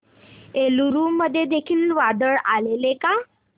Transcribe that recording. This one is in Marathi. एलुरू मध्ये देखील वादळ आलेले का